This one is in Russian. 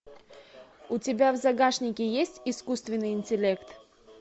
у тебя в загашнике есть искусственный интеллект